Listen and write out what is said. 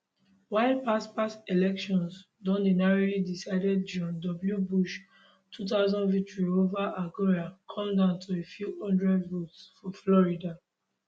while past past elections don dey narrowly decided george w bush 2000 victory ova al gore come down to a few hundred votes for florida